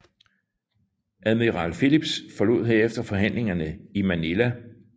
Admiral Phillips forlod herefter forhandlingerne i Manila